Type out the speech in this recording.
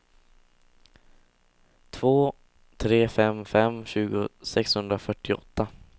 två tre fem fem tjugo sexhundrafyrtioåtta